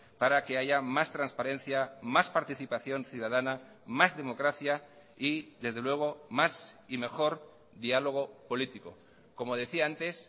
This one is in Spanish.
para que haya más transparencia más participación ciudadana más democracia y desde luego más y mejor diálogo político como decía antes